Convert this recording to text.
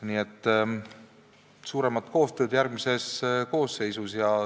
Nii et tihedamat koostööd järgmises koosseisus!